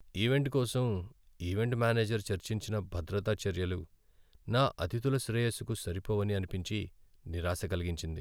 Event కోసం event manager చర్చించిన భద్రతా చర్యలు నా అతిథుల శ్రేయస్సుకు సరిపోవని అనిపించి, నిరాశ కలిగించింది.